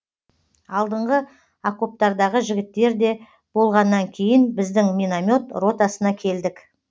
алдыңғы окоптардағы жігіттерде болғаннан кейін біздің миномет ротасына келдік